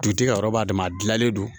Dutigi yɔrɔ b'a dɛmɛ a gilannen don